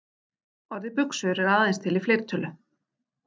Orðið buxur er aðeins til í fleirtölu.